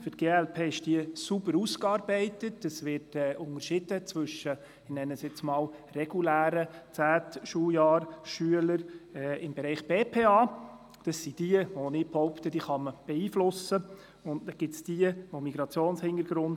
Für die glp ist diese Vorlage sauber ausgearbeitet, es wird unterschieden zwischen – ich nenne das jetzt mal regulären Schülern des zehnten Schuljahrs im Bereich BPA –, die sich beeinflussen lassen und den Schülerinnen und Schülern mit Migrationshintergrund.